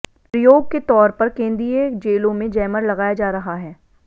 प्रयोग के तौर पर केंदीय जेलों में जैमर लगाया जा रहा है